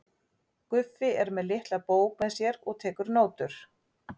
Guffi er með litla bók með sér og tekur nótur.